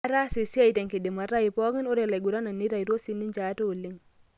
Atasa esiai tenkidimata ai pokin, ore laiguranak neitaitwo sininje ate oleng.